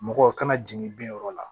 Mɔgɔw kana jigin bin yɔrɔ la